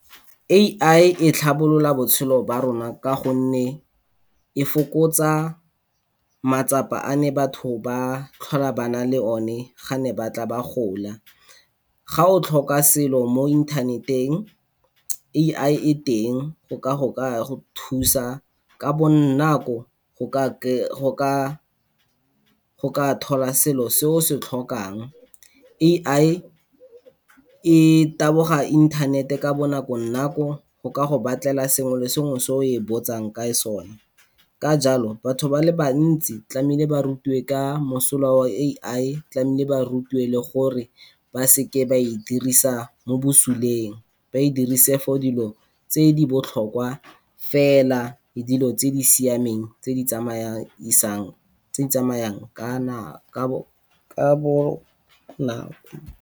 A_I e tlhabolola botshelo ba rona ka gonne e fokotsa matsapa a ne batho ba tlhola ba na le o ne gane ba tla ba gola. Ga o tlhoka selo mo internet-eng, A_I e teng go ka go thusa ka bonako go ka thola selo se o se tlhokang. A_I e taboga internet-eng ka bonako nako, go ka go batlela sengwe le sengwe se o e botsang ka sone. Ka jalo, batho ba le bantsi tlamile ba rutiwe ka mosola wa A_I tlamile ba rutiwe le gore ba seke ba e dirisa mo bosuleng, ba e dirise for dilo tse di botlhokwa fela, le dilo tse di siameng tse di tsamayisang, tse di tsamayang ka nako, ka bonako.